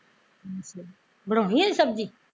ਅੱਛਾ ਬਣਾਉਣੀ ਐ ਹਜੇ ਸਬਜ਼ੀ